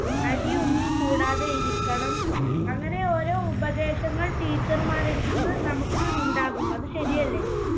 അടിയൊന്നും കൂടാതെ ഇരിക്കണം. അങ്ങനെ ഓരോ ഉപദേശങ്ങൾ teacher മാരുടെ അടുത്തുനിന്ന് നമുക്ക് ഉണ്ടാകും. അത് ശരിയല്ലേ?